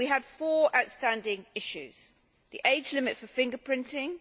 We had four outstanding issues the age limit for fingerprinting